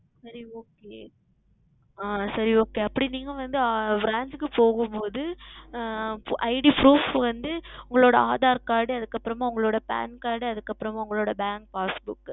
சரி Okay ஆஹ் சரி Okay அப்படி நீங்கள் வந்து Branch க்கு போகும் பொழுது ID Proof வந்து உங்களுடைய Aadhar Card அதற்கு அப்புறம் உங்களுடைய Pan Card அதற்கு அப்புறம் உங்களுடைய Bank Passbook